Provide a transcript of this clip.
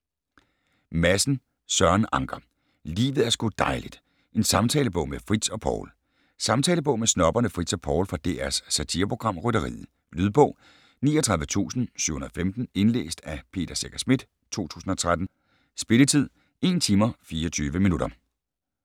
Madsen, Søren Anker: Livet er sgu dejligt: en samtalebog med Fritz og Poul Samtalebog med snobberne Fritz og Poul fra DRs satireprogram Rytteriet. Lydbog 39715 Indlæst af Peter Secher Schmidt, 2013. Spilletid: 1 timer, 24 minutter.